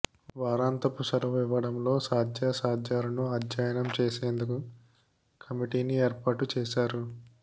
వారంతపు సెలవు ఇవ్వడంలో సాధ్యాసాధ్యాలను అధ్యయనం చేసేందుకు కమిటీని ఏర్పాటు చేశారు